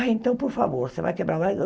Ah, então por favor, você vai quebrar lá e ugh